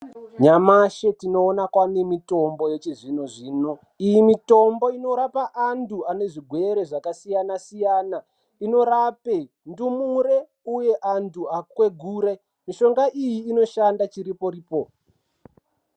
Nyamashi tinoona kwaane mitombo yechizvino zvino. Iyi mitombo inorapa antu ane zvigwere zvakasiyana siyana inorape ndumure uye antu akwegure mushonga iyi inoshanda chiripo ripo.